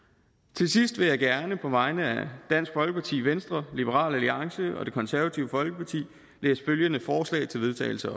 til sidst vil jeg gerne på vegne af dansk folkeparti venstre liberal alliance og det konservative folkeparti læse følgende forslag til vedtagelse